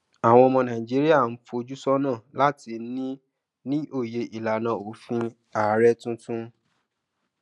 àwọn ọmọ nàìjíríà ń fojú sónà láti ní ní òye ìlànà òfin ààrẹ tuntun